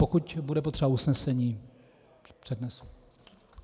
Pokud bude potřeba usnesení, přednesu.